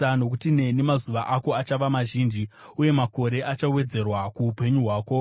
Nokuti neni mazuva ako achava mazhinji, uye makore achawedzerwa kuupenyu hwako.